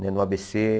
Né no á bê cê.